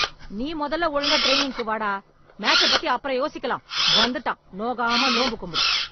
நீ மொதல்ல ஒழுங்கா ட்ரெய்னிங்க்கு வா டா. மேட்சப் பத்தி அப்புறம் யோசிக்கலாம். வந்துட்டான் நோகாம நோம்பு கும்புட.